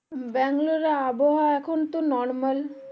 ব্যাঙ্গালোর এর আবহাওয়া এখন তো normal